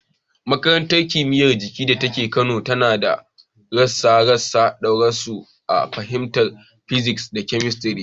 Makarantar Kimiyyar Jiki da ke Kano tana ba da kwasa-kwasan darussa a fannin physics da chemistry.